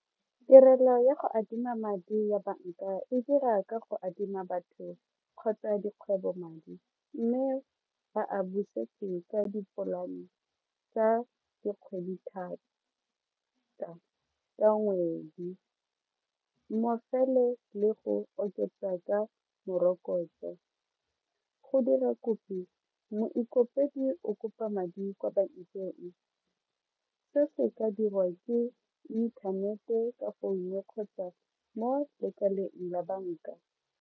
Tirelo ya go adima madi ya banka e dira ka go adima batho kgotsa dikgwebo madi mme ba a busetse ka dipolane tsa dikgwedi thata ka ngwedi le go oketsa ka morokotso, go dira moikopedi o kopa madi kwa bankeng se se ka dirwa ke inthanete ka kgotsa mo lekaleng la banka.